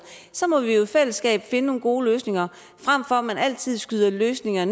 så må vi jo i fællesskab finde nogle gode løsninger frem for at man altid skyder løsninger